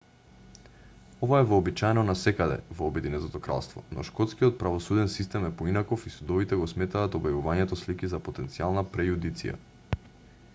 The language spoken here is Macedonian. ова е вообичаено насекаде во обединетото кралство но шкотскиот правосуден систем е поинаков и судовите го сметаат објавувањето слики за потенцијална прејудиција